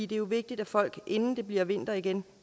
det er jo vigtigt at folk inden det bliver vinter igen